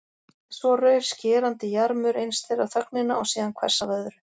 En svo rauf skerandi jarmur eins þeirra þögnina og síðan hvers af öðru.